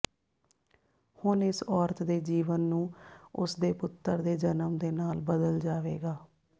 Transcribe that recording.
ਹੁਣ ਇਸ ਔਰਤ ਦੇ ਜੀਵਨ ਨੂੰ ਉਸ ਦੇ ਪੁੱਤਰ ਦੇ ਜਨਮ ਦੇ ਨਾਲ ਬਦਲ ਜਾਵੇਗਾ